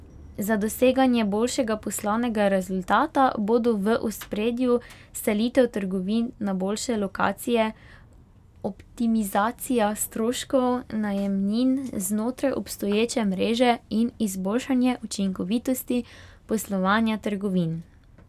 Za doseganje boljšega poslovnega rezultata bodo v ospredju selitev trgovin na boljše lokacije, optimizacija stroškov najemnin znotraj obstoječe mreže in izboljšanje učinkovitosti poslovanja trgovin.